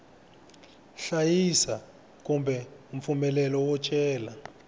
hlayisa kumbe mpfumelelo wo cela